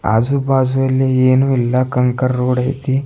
ಆಜುಬಾಜು ಇಲ್ಲಿ ಏನು ಇಲ್ಲ ಕಂಕರ್ ರೋಡ್ ಐತಿ.